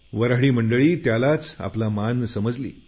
वऱ्हाडी मंडळी त्यालाच आपला मान समजली